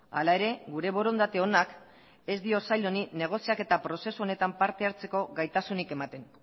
hala ere gure borondate onak ez dio sail honi negoziaketa prozesu honetan parte hartzeko gaitasunik ematen